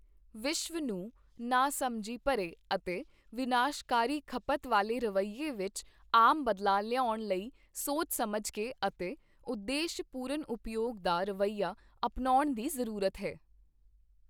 ਵਿਸ਼ਵ ਨੂੰ ਨਾ ਸਮਝੀ ਭਰੇ ਅਤੇ ਵਿਨਾਸ਼ਕਾਰੀ ਖਪਤ ਵਾਲੇ ਰਵੀਏ ਵਿੱਚ ਆਮ ਬਦਲਾਅ ਲਿਆਉਣ ਲਈ ਸੋਚ ਸਮਝ ਕੇ ਅਤੇ ਉਦੇਸ਼ ਪੂਰਨ ਉਪਯੋਗ ਦਾ ਰਵਈਆ ਅਪਣਾਉਣ ਦੀ ਜ਼ਰੂਰਤ ਹੈ।